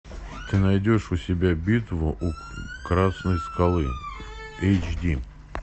ты найдешь у себя битву у красной скалы эйч ди